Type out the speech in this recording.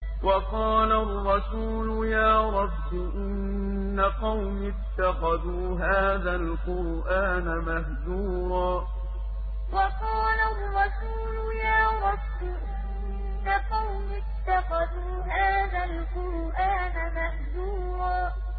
وَقَالَ الرَّسُولُ يَا رَبِّ إِنَّ قَوْمِي اتَّخَذُوا هَٰذَا الْقُرْآنَ مَهْجُورًا وَقَالَ الرَّسُولُ يَا رَبِّ إِنَّ قَوْمِي اتَّخَذُوا هَٰذَا الْقُرْآنَ مَهْجُورًا